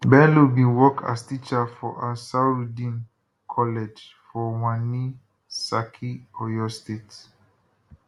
bello bin work as teacher for ansarudeen college for wani saki oyo state